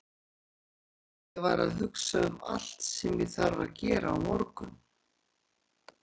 Nei, nei, ég var að hugsa um allt sem ég þarf að gera á morgun.